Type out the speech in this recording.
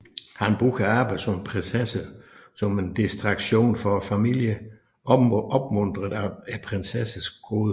Han bruger arbejdet som prinsesse som en distraktion fra familien opmuntret af prinsessernes goder